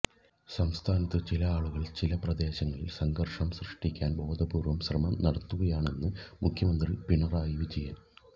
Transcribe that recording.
സംസ്ഥാനത്ത് ചില ആളുകള് ചില പ്രദേശങ്ങളില് സംഘര്ഷം സൃഷ്ടിക്കാന് ബോധപൂര്വ്വ ശ്രമം നടത്തുകയാണെന്ന് മുഖ്യമന്ത്രി പിണറായി വിജയന്